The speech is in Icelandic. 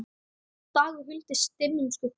dagur huldist dimmum skugga